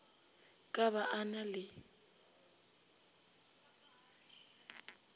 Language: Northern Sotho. ka ba a na le